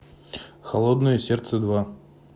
холодное сердце два